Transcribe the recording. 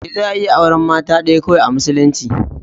Eh za a iya auren mata ɗaya kawai a musulunci.